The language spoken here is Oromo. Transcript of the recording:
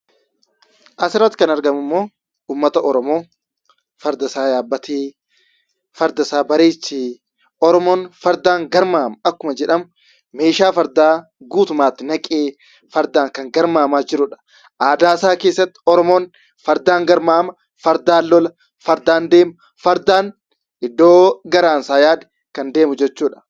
Asirratti kan argamummoo uummata Oromoo fardasaa yaabbatee, fardasaa bareechee, Oromoon fardaan garmaama akkuma jedhamu meeshaa fardaa guutummaatti naqee fardaan kan garmaamaa jirudha. Aadaasaa keessatti Oromoon fardaan garmaama, fardaan lola, fardaan deema, fardaan iddoo garaansaa yaade kan deemu jechuudha.